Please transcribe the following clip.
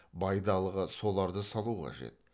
байдалыға соларды салу қажет